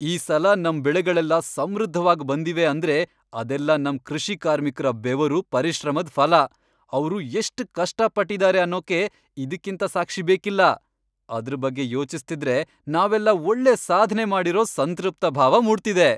ಈ ಸಲ ನಮ್ ಬೆಳೆಗಳೆಲ್ಲ ಸಮೃದ್ಧವಾಗ್ ಬಂದಿವೆ ಅಂದ್ರೆ ಅದೆಲ್ಲ ನಮ್ ಕೃಷಿ ಕಾರ್ಮಿಕ್ರ ಬೆವರು, ಪರಿಶ್ರಮದ್ ಫಲ.. ಅವ್ರು ಎಷ್ಟ್ ಕಷ್ಟ ಪಟ್ಟಿದಾರೆ ಅನ್ನೋಕೆ ಇದ್ಕಿಂತ ಸಾಕ್ಷಿ ಬೇಕಿಲ್ಲ. ಅದ್ರ್ ಬಗ್ಗೆ ಯೋಚಿಸ್ತಿದ್ರೆ ನಾವೆಲ್ಲ ಒಳ್ಳೆ ಸಾಧ್ನೆ ಮಾಡಿರೋ ಸಂತೃಪ್ತ ಭಾವ ಮೂಡ್ತಿದೆ.